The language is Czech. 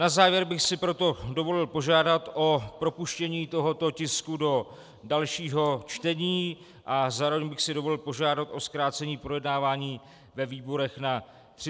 Na závěr bych si proto dovolil požádat o propuštění tohoto tisku do dalšího čtení a zároveň bych si dovolil požádat o zkrácení projednávání ve výborech na 30 dnů.